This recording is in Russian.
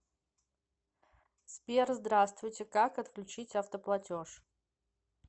сбер здраствуйте как отключить автоплатеж